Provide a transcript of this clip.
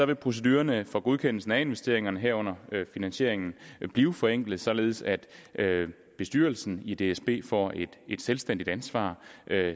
vil procedurerne for godkendelsen af investeringerne herunder finansieringen blive forenklet således at bestyrelsen i dsb får et selvstændigt ansvar